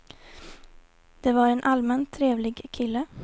Det var en allmänt trevlig kille.